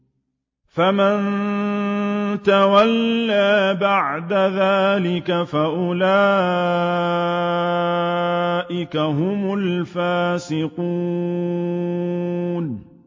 فَمَن تَوَلَّىٰ بَعْدَ ذَٰلِكَ فَأُولَٰئِكَ هُمُ الْفَاسِقُونَ